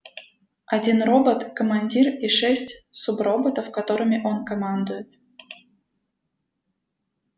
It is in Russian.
один робот командир и шесть суброботов которыми он командует